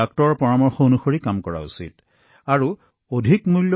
চিকিৎসকৰ পৰামৰ্শৰ সৈতে চিকিৎসা প্ৰটকল গ্ৰহণ কৰাটো অতি গুৰুত্বপূৰ্ণ